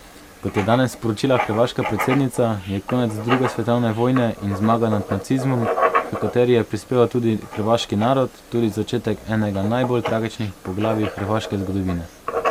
Kot je danes sporočila hrvaška predsednica, je konec druge svetovne vojne in zmaga nad nacizmom, h kateri je prispeval tudi hrvaški narod, tudi začetek enega najbolj tragičnih poglavij hrvaške zgodovine.